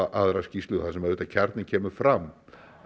aðra skýrslu þar sem kjarninn kemur fram